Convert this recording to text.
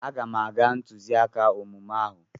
Aga m aga ntụziaka omume ahụ.